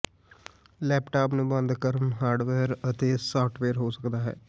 laptop ਨੂੰ ਬੰਦ ਕਾਰਨ ਹਾਰਡਵੇਅਰ ਅਤੇ ਸਾਫਟਵੇਅਰ ਹੋ ਸਕਦਾ ਹੈ